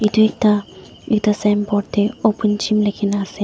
etu ekta ekta sign board te open gym likhe kina ase.